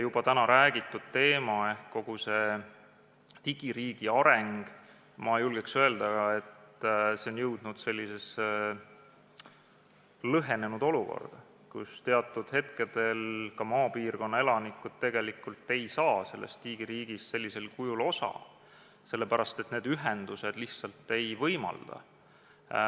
Juba täna räägiti teemal, et kogu digiriigi areng, ma julgeks öelda, on jõudnud sellisesse lõhenenud olukorda, kus teatud hetkel maapiirkonna elanikud ei saa sellest digiriigist sellisel kujul osa, sest ühendused lihtsalt seda ei võimalda.